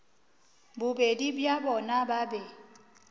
bobedi bja bona ba be